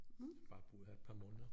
Har bare boet her i et par måneder